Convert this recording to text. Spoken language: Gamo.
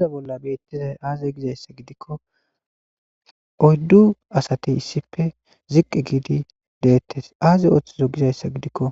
Ga misile bolla betizay aze gidaysa gidiko oydu asati issipe ziqi gidi detes azi othizo gizaysa gidiko